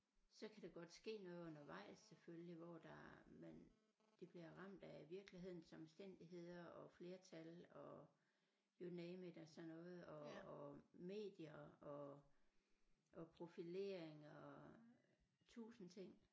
Så kan der godt ske noget undervejs selvfølgelig hvor der man de bliver ramt af virkelighedens omstændigheder og flertal og you name it af sådan noget og og medier og og profileringer og tusind ting